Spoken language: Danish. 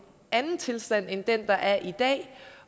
anden tilstand end den der er i dag